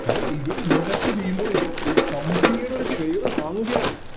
കാരണം ഇവര് Invest ചെയ്യുമ്പോൾ ഇവര് ഒരു Company യുടെയോര് Share വാങ്ങുകയാണ്